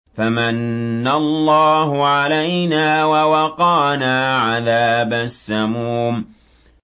فَمَنَّ اللَّهُ عَلَيْنَا وَوَقَانَا عَذَابَ السَّمُومِ